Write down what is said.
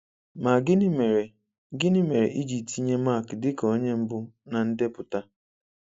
Ma gịnị mere gịnị mere I ji tinye Mark dịka onye mbụ na ndepụta?